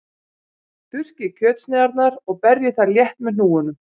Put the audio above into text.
Þurrkið kjötsneiðarnar og berjið þær létt með hnúunum.